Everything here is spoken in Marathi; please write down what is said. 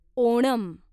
ओणम